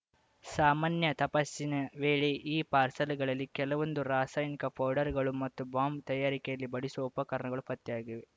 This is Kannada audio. ಸಾಮಾನ್ಯ ತಪಾಸಣೆ ವೇಳೆ ಈ ಪಾರ್ಸೆಲ್‌ಗಳಲ್ಲಿ ಕೆಲವೊಂದು ರಾಸಾಯನಿಕ ಪೌಡರ್‌ಗಳು ಮತ್ತು ಬಾಂಬ್‌ ತಯಾರಿಕೆಯಲ್ಲಿ ಬಳಸುವ ಉಪಕರಣಗಳು ಪತ್ತೆಯಾಗಿವೆ